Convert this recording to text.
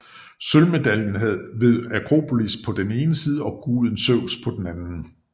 Sølvmedaljen havde Akropolis på den ene side og guden Zeus på den anden